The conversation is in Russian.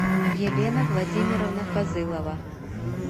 елена владимировна фазылова